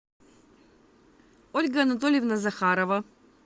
ольга анатольевна захарова